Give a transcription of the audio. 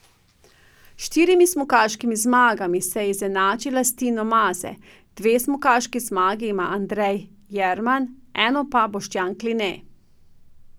S štirimi smukaškimi zmagami se je izenačila s Tino Maze, dve smukaški zmagi ima Andrej Jerman, eno pa Boštjan Kline.